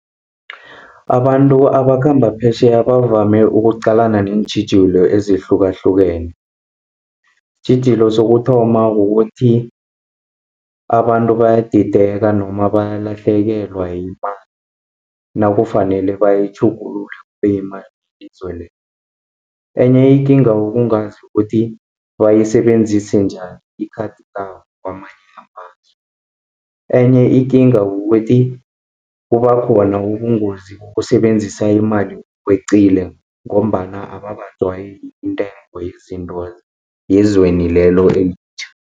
Abantu abakhamba phesheya bavame ukuqalana neentjhijilo ezihlukahlukene. Isitjhijilo sokuthoma ukuthi abantu bayadideka noma bayalahlekelwa yimali nakufanele bayitjhugulule kube yimali yelizwe lelo. Enye ikinga ukungazi ukuthi, bayisebenzise njani ikhadi labo kamanye amazwe. Enye ikinga kukuthi kubakhona ubungozi bokusebenzisa imali ngokwecile, ngombana abakajwayeli intengo yezinto, yezweni lelo elitjha.